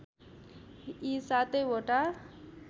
यी सातै वटा